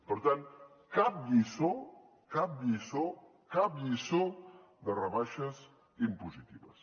per tant cap lliçó cap lliçó cap lliçó de rebaixes impositives